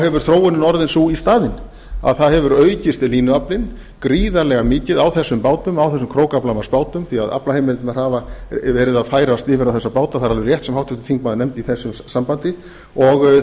hefur þróunin orðið sú í staðinn að það hefur aukist línuaflinn gríðarlega mikið á þessum krókaflamarksbátunum því að aflaheimildirnar hafa verið að færast yfir á þessa báta það er alveg rétt sem háttvirtur þingmaður nefndi í þessu sambandi og